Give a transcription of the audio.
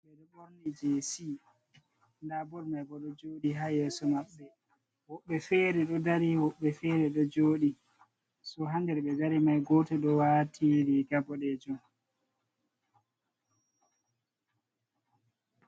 Jeesi, nda bol mai bo ɗo jooɗi ha yeso maɓɓe, woɓɓe fere ɗo dari woɓɓe fere ɗo jooɗi. So, ha nder ɓe dari mai goto ɗo waati riiga boɗeejum.